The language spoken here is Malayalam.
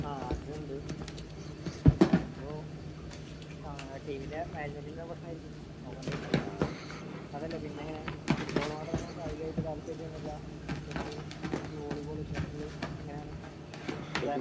ആഹ് അത് ഇണ്ട്. അപ്പൊ ഏഹ് ടീമിന്റെ അതല്ല പിന്നെ ഇങ്ങനെ ഫുട്ബാൾ മാത്രമാണോ കായികമായിട്ട് താല്പര്യം അല്ല ക്രിക്കറ്റ് മറ്റു വോളിബോൾ ഷട്ടിൽ ഇങ്ങനെയാണോ